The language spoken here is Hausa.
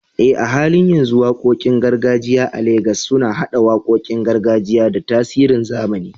Eh, a halin yanzu waƙoƙin gargajiya a Legas suna haɗa waƙoƙin gargajiya da tasirin zamani